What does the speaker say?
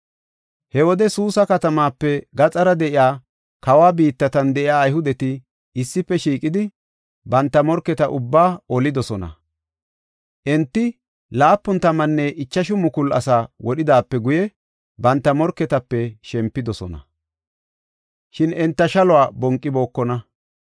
He wode Suusa katamaape gaxara de7iya kawa biittatan de7iya Ayhudeti issife shiiqidi, banta morketa ubbaa olidosona. Enti laapun tammanne ichashu mukulu asaa wodhidaape guye banta morketape shempidosona. Shin enta shaluwa bonqibookona.